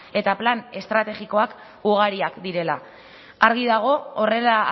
eta plan estrategikoak ugariak direla argi dago horrela